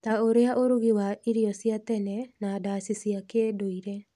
ta ũrĩa ũrũgi wa irio cia tene na ndaci cia kĩndũire,